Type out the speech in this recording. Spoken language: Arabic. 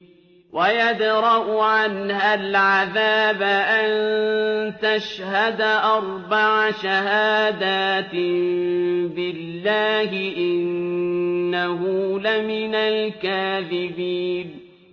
وَيَدْرَأُ عَنْهَا الْعَذَابَ أَن تَشْهَدَ أَرْبَعَ شَهَادَاتٍ بِاللَّهِ ۙ إِنَّهُ لَمِنَ الْكَاذِبِينَ